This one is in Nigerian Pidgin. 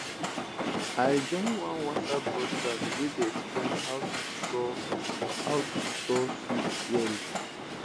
i join one whatsapp broadcast wey dey explain how to store how to store seeds well